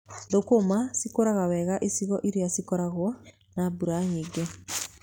Thũkũma cikũraga wega icigo irĩa ikoragwo na mbura nyingĩ.